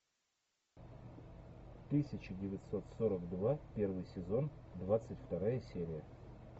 тысяча девятьсот сорок два первый сезон двадцать вторая серия